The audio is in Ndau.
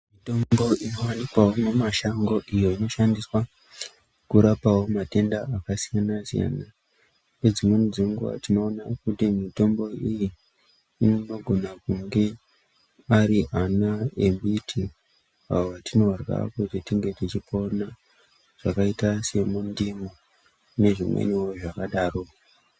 Mitombo inowanikwawo mumashango iyo inoshandiswa kurapawo matenda akasiyana siyana ngedzimweni dzenguwa tinoona kuti mitombo iyi inogona kunge ari ana emiti awo atinorya kuti tinge tichipona akaita semundimu nezvimweniwo zvakadaro.